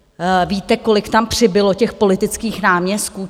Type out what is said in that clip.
Víte, kolik tam přibylo těch politických náměstků?